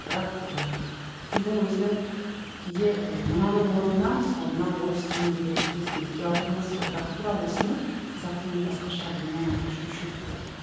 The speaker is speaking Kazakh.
бірақ ыыы тілдің өзінің кейде ы мынаның орнына мысалы мына орыс тіліндегі тіркестің тіке аудармасы ғой бірақ тура осыны қазақ тілінде басқаша бұрыннан айтып жүруші едік қой